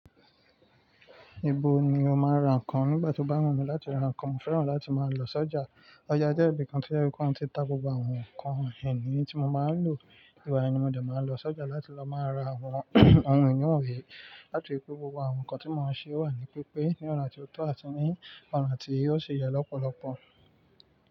Ibo ni o máa ra nǹkan nígbà tí o bá wù mi láti ra nǹkan? Mo fẹ́ràn láti máa lọ sọ́jà. Ọjà jẹ́ ibi kan tí ó yẹ kó ti tq gbogbo àwọn nǹkan ìní tí mo máa ń lò. Ìgbà yẹn ni mo dẹ̀ máa lọ sọ́jà láti lọ máa ra àwọn ohun ìní òwe láti rí pé gbogbo àwọn nǹkan tí mo máa ṣe wà ní pípé ní ọ̀nà tí ó tọ́ àti ní ọ̀nà tí ósì yẹ lọ́pọ̀lọpọ̀.